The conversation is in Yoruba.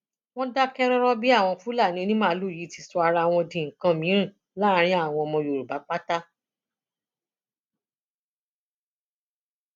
wọn dákẹ rọrọ bí àwọn fúlàní onímaalùú yìí ti sọ ara wọn di nǹkan mìín láàrin àwọn ọmọ yorùbá pátá